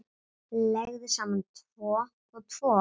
Leggðu saman tvo og tvo.